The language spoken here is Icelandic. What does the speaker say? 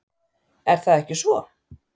Er það ekki svo?